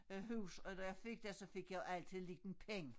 Øh hus og når jeg fik dér så fik jeg jo altid liten penge